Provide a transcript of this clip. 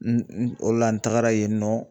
N n o la n tagara yen nɔ